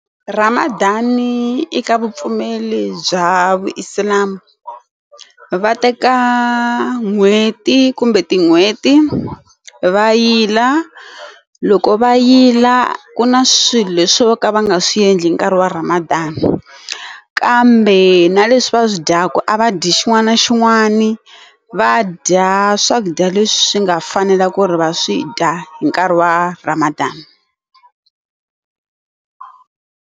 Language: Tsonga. Ramadan eka vupfumeri bya vu islam va teka n'hweti kumbe tin'hweti va yila loko va yila ku na swilo leswi vo ka va nga swi endli nkarhi wa Ramadan kambe na leswi va swi dyaka a va dyi xin'wana na xin'wana va dya swakudya leswi nga fanela ku ri va swi dya hi nkarhi wa Ramadan.